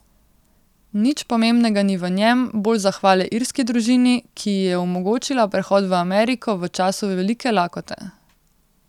Nič pomembnega ni v njem, bolj zahvale irski družini, ki ji je omogočila prehod v Ameriko v času velike lakote.